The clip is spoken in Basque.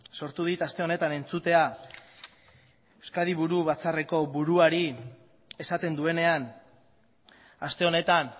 sortu dit asten honetan entzutea euskadi buru batzar buruari esaten duenean aste honetan